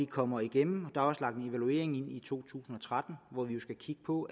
kommer igennem og der er også lagt en evaluering ind i to tusind og tretten hvor vi jo skal kigge på